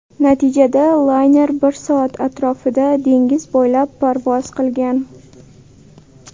Natijada layner bir soat atrofida dengiz bo‘ylab parvoz qilgan.